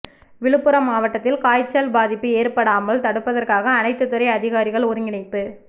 விழுப்புரம் மாவட்டத்தில் காய்ச்சல் பாதிப்பு ஏற்படாமல் தடுப்பதற்காக அனைத்துத் துறை அதிகாரிகள் ஒருங்கிணைப்பு